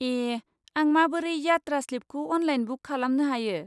ए! आं माबोरै यात्रा स्लिपखौ अनलाइन बुक खालानो हायो?